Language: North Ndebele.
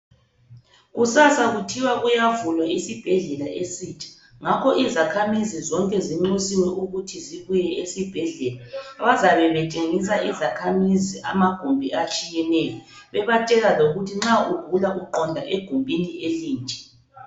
Kusasa kuthiwa kuyavulwa isibhedlela esitsha ngakho izakhamizi zonke zinxusiwe ukuthi zibuye esibhedlela. Bazabe betshengisa izakhamizi amagumbi atshiyeneyo bebatshela lokuthi nxa ugula uqonda egumbini elinje.